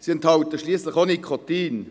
Sie enthalten schliesslich auch Nikotin.